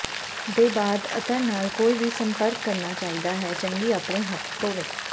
ਦੇ ਬਾਅਦ ਅਤਰ ਨਾਲ ਕੋਈ ਵੀ ਸੰਪਰਕ ਕਰਨਾ ਚਾਹੀਦਾ ਹੈ ਚੰਗੀ ਆਪਣੇ ਹੱਥ ਧੋਵੋ